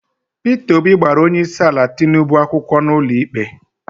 Peter Obi gbara onyeisiala Tinubu akwụkwọ n'ụlọikpe